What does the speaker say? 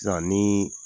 Sisan ni